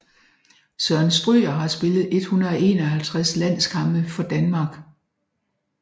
Søren Stryger har spillet 151 landskampe for Danmark